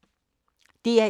DR1